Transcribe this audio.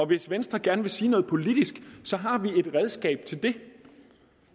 hvis venstre gerne vil sige noget politisk har vi et redskab til det